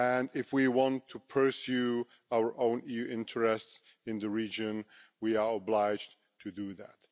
If we want to pursue our own EU interests in the region, we are obliged to do that.